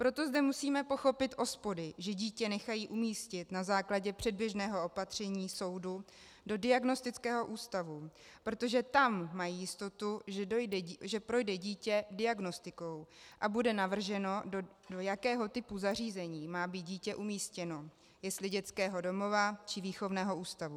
Proto zde musíme pochopit OSPODy, že dítě nechají umístit na základě předběžného opatření soudu do diagnostického ústavu, protože tam mají jistotu, že projde dítě diagnostikou a bude navrženo, do jakého typu zařízení má být dítě umístěno, jestli dětského domova, či výchovného ústavu.